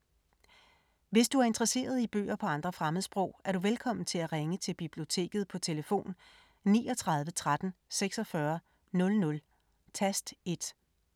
Hvis du er interesseret i bøger på andre fremmedsprog, er du velkommen til at ringe til Biblioteket på tlf. 39 13 46 00, tast 1.